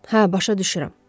Hə, başa düşürəm.